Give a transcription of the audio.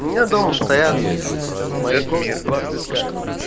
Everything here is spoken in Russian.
у меня дома стоят в моей комнате два цветка